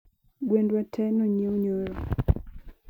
Gwendw tee nonyiew nyoro